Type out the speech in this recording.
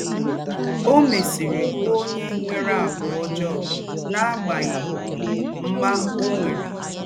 Ó mésìrì bụ̀ ǒnyẹ́ nwèrè àgwà́ ọ̌jọọ́ n’agbághị̀ mmá ọ́ nwèrè.